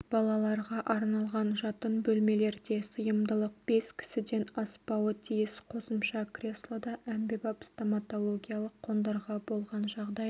балаларға арналған жатын бөлмелерде сыйымдылық бес кісіден аспауы тиіс қосымша креслода әмбебап стоматологиялық қондырғы болған жағдайда